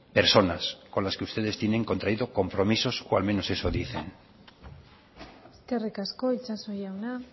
personas con las que ustedes tienen contraído compromisos o al menos eso dicen eskerrik asko itxaso jauna